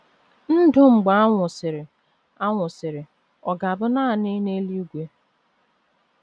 Ndụ Mgbe A Nwụsịrị A Nwụsịrị ọ̀ ga - abụ nanị n’eluigwe?